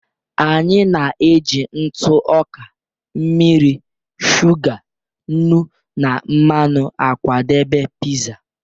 Anyị na-eji ntụ ọka, mmiri, shuga, nnu na mmanụ akwadebe pizza.